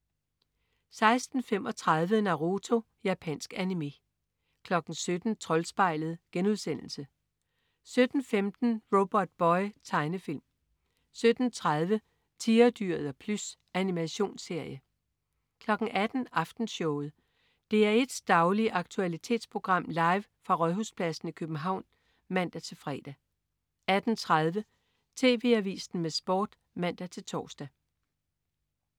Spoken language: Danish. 16.35 Naruto. Japansk animé 17.00 Troldspejlet* 17.15 Robotboy. Tegnefilm 17.30 Tigerdyret og Plys. Animationsserie 18.00 Aftenshowet. DR1s daglige aktualitetsprogram, live fra Rådhuspladsen i København (man-fre) 18.30 TV Avisen med Sport (man-tors)